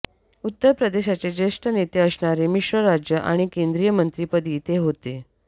उत्तर प्रदेशाचे ज्येष्ठ नेते असणारे मिश्र राज्य आणि केंद्रीय मंत्रीपदी ते होते